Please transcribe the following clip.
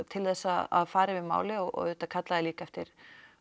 til þess að fara yfir málið og auðvitað kallaði ég líka eftir